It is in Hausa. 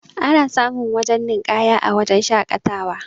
ana samun wajen ninƙaya a wajen shaƙatawa